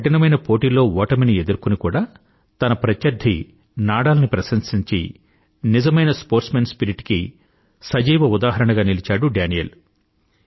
కఠినమైన పోటిలో ఓటమిని ఎదుర్కొని కూడా తన ప్రత్యర్థి నాడాల్ ని ప్రశంసించి నిజమైన స్పోర్ట్స్మాన్ స్పిరిట్ కి సజీవ ఉదాహరణగా నిలిచాడు డానీల్